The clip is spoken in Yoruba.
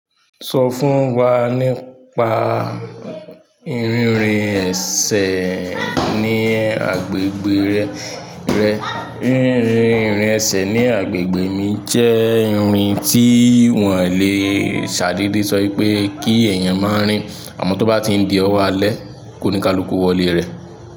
Sọ fún wa nípa rinrìn ẹsẹ̀ ní agbègbè rẹ. Rinrin irin ẹsẹ̀ ní agbègbè mi jẹ́ irin tí wọ́n lè ṣàdede sọ wipé kí eeyan mọ rìn àmọ́ tó bá ti n di ọwọ́ alẹ́, kóníkaluko wọlé rẹ̀.